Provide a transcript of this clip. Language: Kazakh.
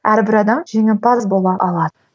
әрбір адам жеңімпаз бола алады